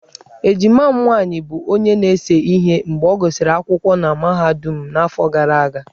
Ejima m nwaanyị bụ onye na-ese ihe mgbe ọ gụsịrị akwụkwọ na mahadum n'afọ gara aga.